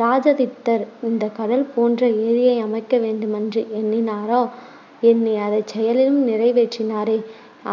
இராஜாதித்தர் இந்தக் கடல் போன்ற ஏரியை அமைக்க வேண்டுமென்று எண்ணினாரா எண்ணி அதைச் செயலிலும் நிறைவேற்றினாரே